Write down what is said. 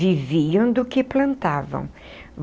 Viviam do que plantavam.